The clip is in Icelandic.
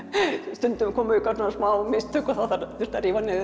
stundum komu smá mistök og þá þurfti að rífa niður